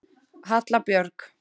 Halla Björg.